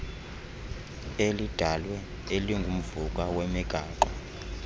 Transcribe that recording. elidalwe elingumvuka wemigaqo